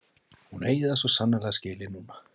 Hún eigi það svo sannarlega skilið núna.